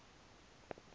uzume kule nto